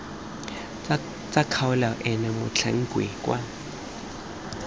tsa kgaolo eno motlhankedi wa